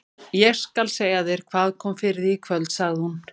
Ég skal segja þér hvað kom fyrir þig í kvöld, sagði hún.